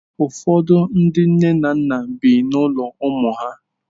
Ụfọdụ ndi nne na nna bi n'ụlọ ụmụ ha.